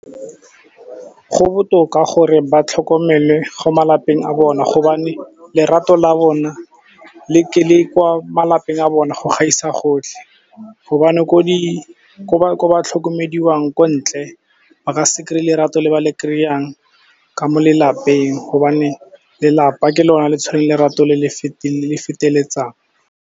Go botoka gore ba tlhokomele go malapeng a bona gobane lerato la bona kwa malapeng a bone go gaisa gotlhe, gobane ko ba tlhokomediwang ko ntle ba ka se kry-e lerato le ba le kry-ang ka mo lelapeng gobane lelapa ke lone le tshwereng lerato le le feteletsang.